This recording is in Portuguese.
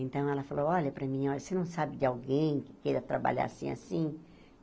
Então, ela falou, olha, para mim, você não sabe de alguém que queira trabalhar assim, assim?